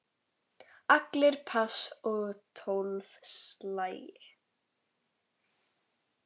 Allir pass og tólf slagir.